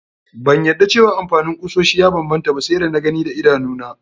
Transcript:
Ban yadda cewa amfanin kusoshi ya banbanta ba sai da na gi daidanuna.